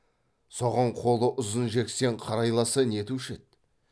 соған қолы ұзын жексен қарайласса нетуші еді